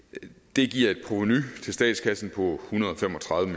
det giver et provenu til statskassen på en hundrede og fem og tredive